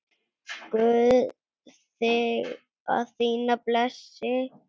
Guð þig og þína blessi.